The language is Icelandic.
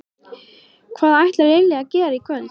Hvað ætlar Lilja að gera í kvöld?